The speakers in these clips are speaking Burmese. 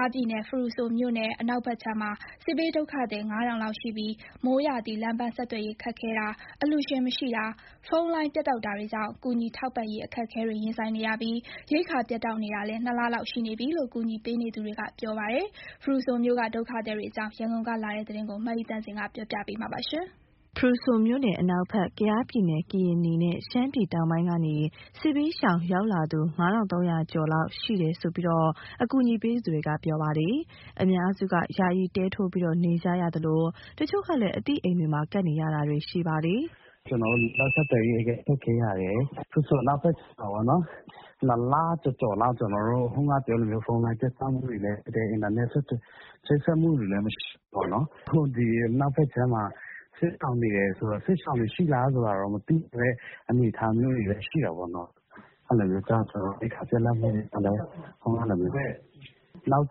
ားပြည်နယ် ဖရူဆိုမြို့နယ် အနောက်ဘက်ခြမ်းမှာ စစ်ဘေးဒုက္ခသည် ၅,၀၀၀ လောက်ရှိပြီး မိုးရာသီလမ်းပန်းဆက်သွယ်ရေး ခက်ခဲတာ၊ အလှူရှင်မရှိတာ၊ ဖုန်းလိုင်းပြတ်တောက်တာတွေကြောင့် ကူညီထောက်ပံ့ရေး အခက်အခဲတွေ ရင်ဆိုင်ရပြီး ရိက္ခာပြတ်တောက်နေတာလည်း ၂ လ လောက်ရှိနေပြီလို့ ကူညီပေးနေသူတွေက ပြောပါတယ်။ ဖရူဆိုမြို့က ဒုက္ခသည်တွေအကြောင်း ရန်ကုန်က လာတဲ့သတင်းကို မအိသန့်စင်က တင်ပြပေးထားပါတယ်။ ဖရူဆိုမြို့နယ် အနောက်ဘက် ကယားပြည်နယ် (ကရင်နီ) နဲ့ ရှမ်းပြည်တောင်ပိုင်းကနေ စစ်ဘေးရှောင် ရောက်လာသူ ၅,၃၀၀ ကျော်လောက် ရှိတယ်လို့ အကူအညီပေးနေသူတွေက ပြောပါတယ်။ အများစုက ယာယီတဲထိုးပြီး နေကြသလို တချို့ကလည်း အသိအိမ်မှာ ကပ်နေရတာတွေ ရှိပါတယ်။ "ကျနော်တို့ လမ်းပန်းဆက်သွယ်ရေး အရမ်းခက်ခဲတာရယ်၊ ဖရူဆိုအနောက်ဘက်ခြမ်းမှာ ၂ လကျော်လောက် ဖုန်းလိုင်းပြတ်တောက်မှုတွေနဲ့ အင်တာနက်ချိတ်ဆက် မှုတွေလည်း မရှိဘူးပေါ့နော်။ အခု ဒီအနောက်ဘက်ခြမ်းမှာ စစ်ရှောင်တွေရှိလားဆိုတာ မသိတဲ့အနေအထားတောင် ရှိတာပေါ့နော်။ အဲလိုဆိုတော့ ရိက္ခာပြတ်လတ်မှုတွေကလည်း နောက်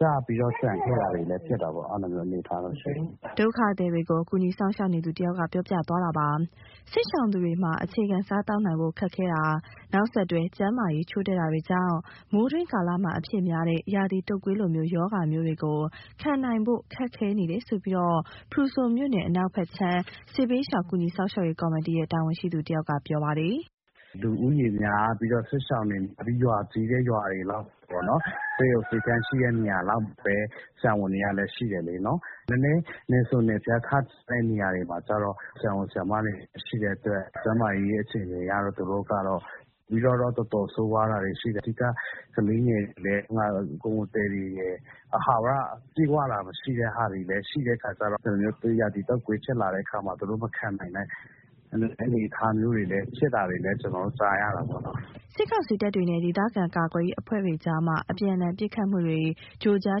ကျပြီးတော့ ကျန်ခဲ့တာတွေလည်း ဖြစ်တဲ့အနေအထားတော့ ရှိတယ်။" ဒုက္ခသည်တွေကို ကူညီစောင့်ရှောက်နေသူတဦး ပြောပြတာပါ။ စစ်ရှောင်သူတွေမှာ အခြေခံစားသောက်နိုင်ဖို့ ခက်ခဲတာ၊ နောက်ဆက်တွဲ ကျန်းမာရေးချို့တဲ့တာကြောင့် မိုးတွင်းကာလမှာ အဖြစ်များတဲ့ ရာသီတုတ်ကွေးလို ရောဂါမျိုးတွေကို ခံနိုင်ဖို့ ခက်ခဲနေတယ်လို့ ဖရူဆိုမြို့နယ် အနောက်ဘက်ခြမ်း စစ်ဘေးရှောင်ကူညီ စောင့်ရှောက်ရေးကော်မတီရဲ့ တာဝန်ရှိသူတဦးက ပြောပါတယ်။ "လူဦးရေများပြီးတော့ စစ်ရှောင်တွေရှိတဲ့ ရွာကြီးတဲ့ နေရာတွေ၊ ဆေးရုံ ဆေးခန်းရှိတဲ့ နေရာတွေလောက်မှာပဲ ဆရာဝန်တွေကလည်း ရှိတယ်လေနော်။ နည်းနည်း နယ်စွန်နယ်ဖျားရောက်တဲ့ နေရာတွေကျတော့ ဆရာဝန်၊ ဆရာမတွေ မရှိတဲ့အတွက် ကျန်းမာရေးအခြေအနေက သူတို့ကတော့ တော်တော်ဆိုးရွားတာတွေ ရှိတယ်။ အဓိက ကလေးငယ်တွေနဲ့ ကိုယ်ဝန်သည်တွေရယ် အာဟာရပြည့်ဝတာ မရှိတော့ ဒီလိုမျိုး ရာသီတုပ်ကွေးဖြစ်လာတဲ့အခါမှာ သူတို့မခံနိုင်တဲ့ အနေအထားမျိုးတွေ ဖြစ်တာတွေလည်း ကျနော်တို့ကြားရတာပေါ့နော်။" စစ်ကောင်စီတပ်တွေနဲ့ ဒေသခံ ကာကွယ်ရေးအဖွဲ့တွေကြား အပြန်အလှန် ပစ်ခတ်မှုတွေ ကြို့ကြား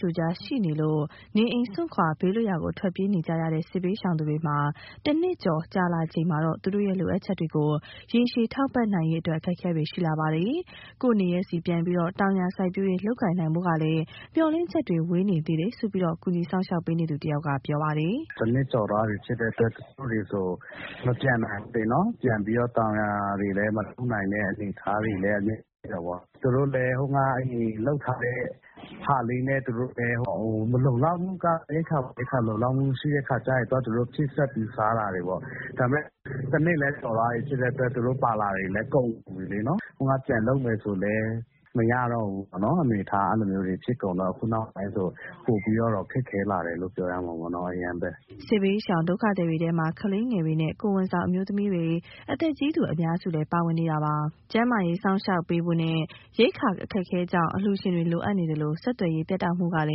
ကြို့ကြား ရှိနေလို့ နေအိမ်စွန့်ခွာ ဘေးလွတ်ရာ ထွက်ပြေးနေကြရတဲ့ စစ်ဘေးရှောင်သူတွေမှာ ၁ နှစ်ကျော်ကြာလာချိန်မှာတော့ သူတို့ရဲ့ လိုအပ်ချက်တွေကို ရေရှည် ထောက်ပံ့နိုင်ရေးလည်း အခက်အခဲတွေ ရှိလာပါတယ်။ ကိုယ့်နေရပ်ဆီပြန်ပြီး တောင်ယာစိုက်ပျိုးရေး လုပ်ကိုင်နိုင်ဖို့ကလည်း မျှော်လင့် ချက်တွေ ဝေးနေသေးတယ်လို့ ကူညီဆောင်ရွက်ပေးနေသူတဦးက ပြောပါတယ်။ "၁ နှစ်ကျော်သွားပြီ ဖြစ်တဲ့အတွက် တချို့တွေဆို မပြန်နိုင်ဘူးလေ။ ပြန်ပြီးတော့ တောင်ယာတွေလည်း မလုပ်နိုင်တဲ့ အနေအထားမျိုး ရှိတာပေါ့။ သူတို့လည်း ဟိုတုန်းကလုပ်ထားတဲ့ဟာလေးနဲ့ ရိက္ခာလုံလောက်မှု မရှိတဲ့အခါကျရင် သူတို့ဟာသူတို့ ဖြည့်စွက်ပြီးစားရတာပေါ့။ ဒါပေမဲ့ ၁ နှစ်လည်း ကျော်သွားပြီဖြစ်တဲ့အတွက် သူတို့ပါလာတာတွေလည်း ကုန်ပြီလေနော်။ အလုပ်တွေပြန်လုပ်မယ်ဆိုလည်း မရတော့တဲ့အနေအထား ဖြစ်ကုန်တော့ အခုနောက်ပိုင်းမှာ ပိုပြီးတော့ အရမ်းခက် ခဲလာတယ် ပြောရမှာပေါ့။" စစ်ဘေးရှောင် ဒုက္ခသည်တွေထဲမှာ ကလေးငယ်တွေနဲ့ ကိုယ်ဝန်ဆောင် အမျိုးသမီးတွေ၊ အသက်ကြီးသူအများစုလည်း ပါဝင်နေပါတယ်။ ကျန်းမာရေး စောင့်ရှောက်ပေးဖို့နဲ့ ရိက္ခာ အခက်အခဲကြောင့် အလှူရှင်တွေ လိုအပ်နေသလို ဆက်သွယ်ရေး ပြတ်တောက်မှုကလ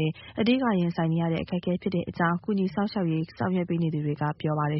ည်း အဓိက ရင်ဆိုင်ရတဲ့ အခက်အခဲ ဖြစ်တဲ့အကြောင်း ကူညီကယ်ဆယ်ရေး ဆောင်ရွက်နေသူတွေက ပြောဆိုပါတယ်